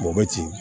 Mɔgɔ bɛ ci